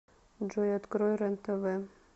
джой открой рен тв